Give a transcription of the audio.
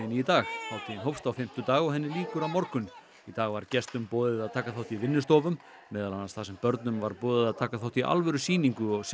í dag hátíðin hófst á fimmtudag og henni lýkur á morgun í dag var gestum boðið að taka þátt í vinnustofum meðal annars þar sem börnum var boðið að taka þátt í alvöru sýningu og sjá